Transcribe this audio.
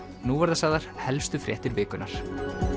nú verða sagðar helstu fréttir vikunnar